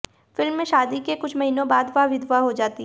film में शादी के कुछ महीनों बाद वह विधवा हो जाती है